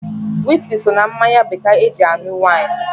Wiski so na mmanya bekee ana-eji alụ nwaanyị.